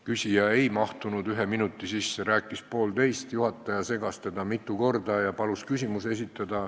Küsija ei mahtunud ühe minuti sisse, ta rääkis poolteist minutit, juhataja segas teda mitu korda ja palus küsimuse esitada.